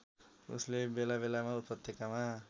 उसले बेलाबेलामा उपत्यकामा